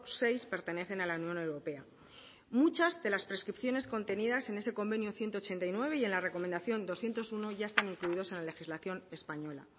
seis pertenecen a la unión europea muchas de las prescripciones contenidas en ese convenido ciento ochenta y nueve y en la recomendación doscientos uno ya están incluidas en la legislación española